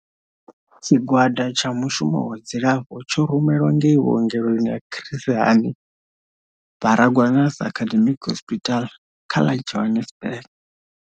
Tshigwada tsha mushumo wa dzilafho tsho rumelwa ngei vhuongeloni ha Chris Hani Baragwanath Academic Hospital kha ḽa Johannesburg.